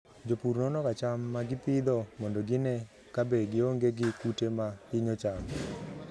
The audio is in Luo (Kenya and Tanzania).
Jopur nonoga cham ma gipidho mondo gine kabe gionge gi kute ma hinyo cham.